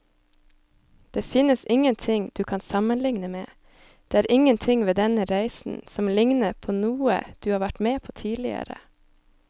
Det finnes ingenting du kan sammenligne med, det er ingenting ved denne reisen som ligner på noe du har vært med på tidligere.